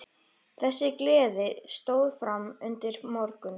Þessi gleði stóð fram undir morgun.